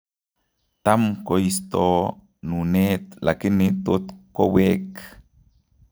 Tam koistoo nuneet lakini totkoweek